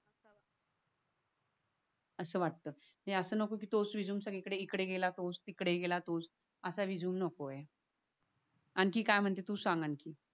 अस वाटत अस नको तोच रेझूमे सगळी कडे इकडे गेला तोच तिकडे गेला तोच असा रेझूमे नको ये. अखीन काय म्हणते तू सांग आणखीन